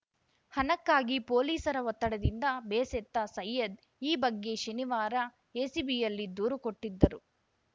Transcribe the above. ಹಣಕ್ಕಾಗಿ ಪೊಲೀಸರ ಒತ್ತಡದಿಂದ ಬೇಸೆತ್ತ ಸೈಯದ್‌ ಈ ಬಗ್ಗೆ ಶನಿವಾರ ಎಸಿಬಿಯಲ್ಲಿ ದೂರು ಕೊಟ್ಟಿದ್ದರು